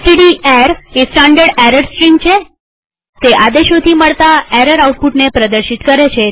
એસટીડીએર એ standard error stream છેતે આદેશોથી મળતા એરર આઉટપુટને પ્રદર્શિત કરે છે